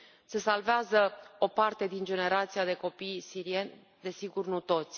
Se salvează o parte din generația de copii sirieni, desigur, nu toți.